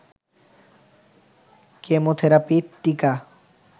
chemotherapy, টিকা